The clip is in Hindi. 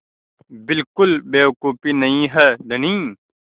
बिल्कुल बेवकूफ़ी नहीं है धनी